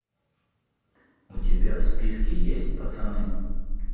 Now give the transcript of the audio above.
у тебя в списке есть пацаны